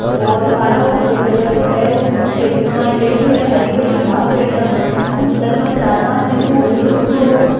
और काला और सफेद कलर को है ओ खेत का माइन बेठियों है हरी भरी घास है एक दम कुछ लगभग चार पाँच दिन को हूर हुलो।